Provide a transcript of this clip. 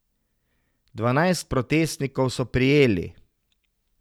Dvanajst protestnikov so prijeli.